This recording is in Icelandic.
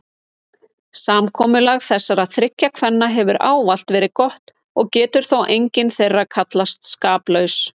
Samkomulag þessara þriggja kvenna hefur ávallt verið gott og getur þó engin þeirra kallast skaplaus.